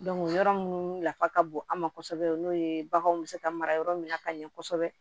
yɔrɔ minnu nafa ka bon an ma kosɛbɛ o n'o ye baganw bɛ se ka mara yɔrɔ min na ka ɲɛ kosɛbɛ